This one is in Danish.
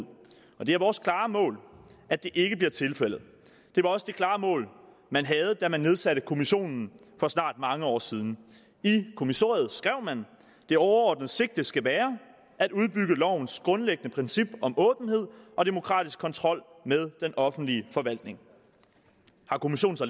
og det er vores klare mål at det ikke bliver tilfældet det var også det klare mål man havde da man nedsatte kommissionen for snart mange år siden i kommissoriet skrev man det overordnede sigte skal være at udbygge lovens grundlæggende princip om åbenhed og demokratisk kontrol med den offentlige forvaltning har kommissionen så